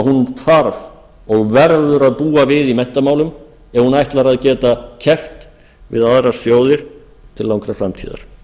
hún þarf og verður að búa við í menntamálum ef hún ætlar að geta keppt við aðrar þjóðir til langrar framtíðar